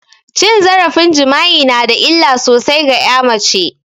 Cin zarafin jima'i nada illa sosai ga ƴa mace